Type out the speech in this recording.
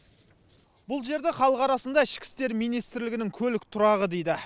бұл жерді халық арасында ішкі істер министрлігінің көлік тұрағы дейді